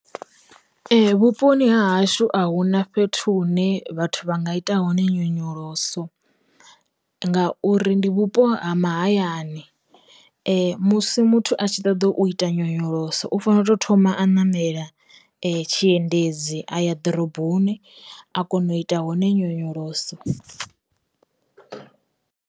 Vhuponi ha hashu a hu na fhethu hune vhathu vha nga ita hone nyonyoloso, ngauri ndi vhupo ha mahayani, musi muthu a tshi ṱoḓa u ita nyonyoloso u fanela u to thoma a namela tshiendedzi a ya ḓoroboni a kona u ita hone nyonyoloso.